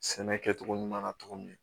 Sɛnɛ kɛcogo ɲuman na cogo min